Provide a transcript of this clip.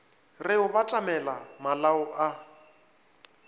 re o batamela malao a